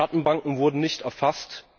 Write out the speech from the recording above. Schattenbanken wurden nicht erfasst.